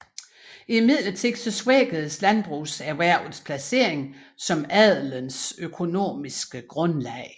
Imidlertid svækkedes landbrugserhvervets placering som adelens økonomiske grundlag